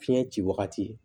Fiɲɛ ci wagati